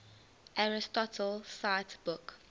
aristotle cite book